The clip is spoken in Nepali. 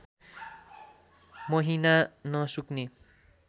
महिना नसुक्ने